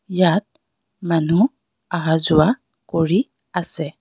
ইয়াত মানুহ অহা যোৱা কৰি আছে.